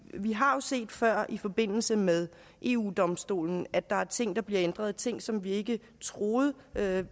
vi har jo set før i forbindelse med eu domstolen at der er ting der bliver ændret ting som vi ikke troede